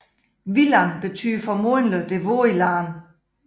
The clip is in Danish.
Villand betyder formodentlig det våde land